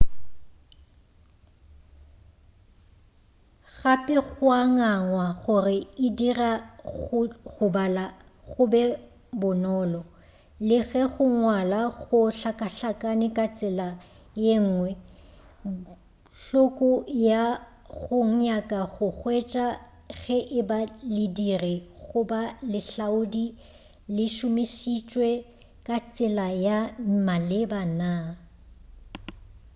gape go a ngangwa gore e dira go bala go be bonolo le ge go ngwala go hlakahlakane ka tsela yenngwe hloko ya go nyaka go hwetša ge e ba lediri goba lehlaodi le šomišitšwe ka tsela ya maleba naa